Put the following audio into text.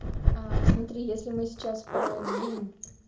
аа смотри если мы сейчас продлим